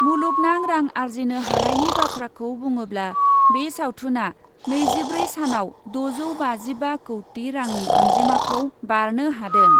मुलुगनां रां आरजिनो हानायनि बाथ्राखौ बुङोब्ला बे सावथुनआ नैजिब्रै सानआव दजौ बाजिबा कौटि रांनि अन्जिमाखौ बारनो हादों ।